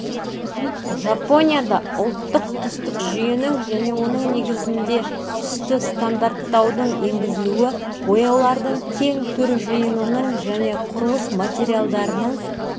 жапонияда ұлттық түстік жүйенің және оның негізінде түсті стандарттаудың енгізілуі бояулардың кең түр жиынының және құрылыс материалдарының